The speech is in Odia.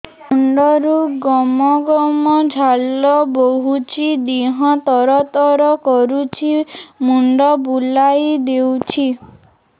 ମୁଣ୍ଡରୁ ଗମ ଗମ ଝାଳ ବହୁଛି ଦିହ ତର ତର କରୁଛି ମୁଣ୍ଡ ବୁଲାଇ ଦେଉଛି